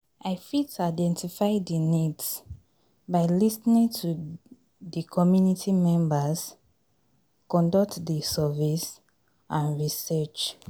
i fit identify di needs by lis ten ing to di community members, conduct di surveys and research.